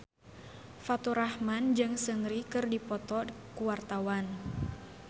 Faturrahman jeung Seungri keur dipoto ku wartawan